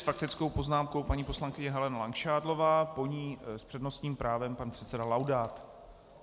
S faktickou poznámkou paní poslankyně Helena Langšádlová, po ní s přednostním právem pan předseda Laudát.